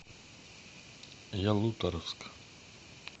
ялуторовск